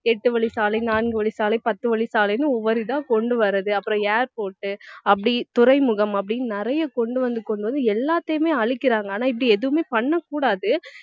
எட்டு வழிச்சாலை நான்கு வழிச்சாலை பத்து வழிச்சாலைன்னு ஒவ்வொரு இதா கொண்டு வர்றது அப்புறம் airport அப்படி துறைமுகம் அப்படின்னு நிறைய கொண்டு வந்து கொண்டு வந்து எல்லாத்தையுமே அழிக்கிறாங்க ஆனா இப்படி எதுவுமே பண்ண கூடாது